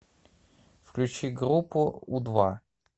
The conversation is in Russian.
включи группу у два